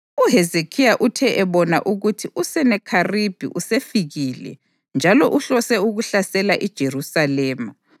UHezekhiya uthe ebona ukuthi uSenakheribhi usefikile njalo uhlose ukuhlasela iJerusalema,